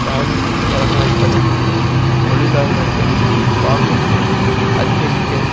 தாவித் தொடங்கவைப்பதன் மூலம் தொழிலாளர்களின் வாங்கும் திறனை அதிகரிக்க